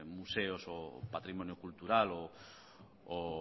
museos o patrimonio cultural o